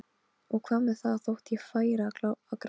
Og hvað með það þótt ég færi að gráta?